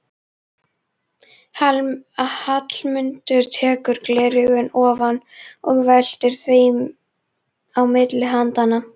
Hallmundur tekur gleraugun ofan og veltir þeim á milli handanna.